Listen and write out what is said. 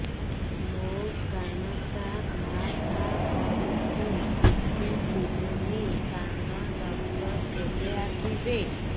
ମୋ କାନ ଟା ଭାଁ ଭାଁ କରୁଛି କିଛି ଶୁଭୁନି କାନ ଡକ୍ଟର କେବେ ଆସିବେ